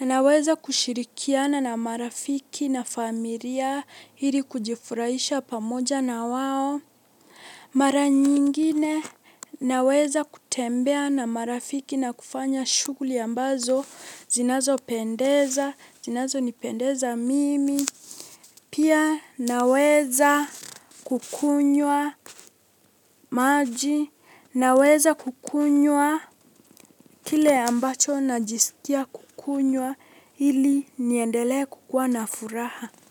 naweza kushirikiana na marafiki na familia ili kujifurahisha pamoja na wao. Mara nyingine naweza kutembea na marafiki na kufanya shughuli ambazo zinazopendeza, zinazonipendeza mimi. Pia naweza kukunywa maji naweza kukunywa kile ambacho najisikia kukunywa ili niendele kukua na furaha.